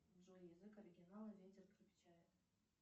джой язык оригинала ветер крепчает